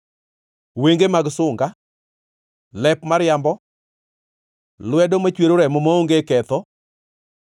wenge mag sunga, lep mariambo, lwedo machwero remo maonge ketho,